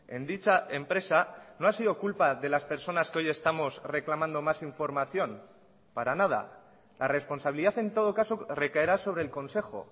en dicha empresa no ha sido culpa de las personas que hoy estamos reclamando más información para nada la responsabilidad en todo caso recaerá sobre el consejo